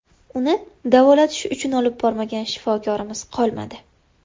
Uni davolatish uchun olib bormagan shifokorimiz qolmadi.